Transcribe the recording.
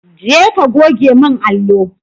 Je ka goge min allo!